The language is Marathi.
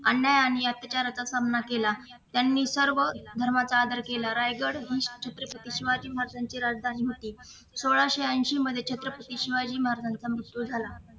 अन्याय आणि याच विचाराचा सामना केला त्यांनी सर्व धर्माचा आदर केला रायगड हि छत्रपती शिवाजी महाराजांची राजधानी होती सोळाशे ऐशी मध्ये छत्रपती शिवाजी महाराजांचा मृत्यू झाला